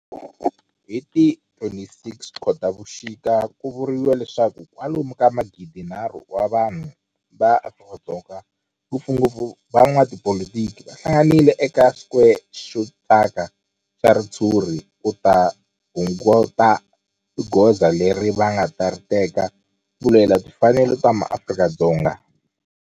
Hi ti 26 Khotavuxika ku vuriwa leswaku kwalomu ka magidi-nharhu wa vanhu va Afrika-Dzonga, ngopfungopfu van'watipolitiki va hlanganile eka square xo thyaka xa ritshuri ku ta kunguhata hi goza leri va nga ta ri teka ku lwela timfanelo ta maAfrika-Dzonga.